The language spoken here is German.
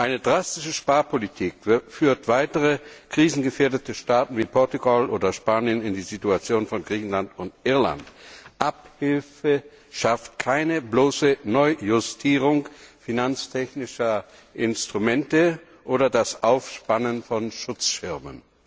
Eine drastische Sparpolitik führt weitere krisengefährdete Staaten wie Portugal oder Spanien in die Situation von Griechenland und Irland. Abhilfe schafft keine bloße Neujustierung finanztechnischer Instrumente oder das Aufspannen von Schutzschirmen.